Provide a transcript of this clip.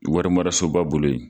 Warimarasoba bolo ye.